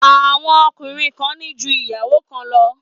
Àwọn ọkùnrin kan ní ju ìyàwó kan lọ.